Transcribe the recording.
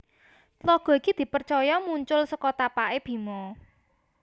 Tlaga iki di percaya muncul seko tapakke Bima